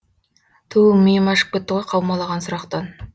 түу миым ашып кетті ғой қаумалаған сұрақтан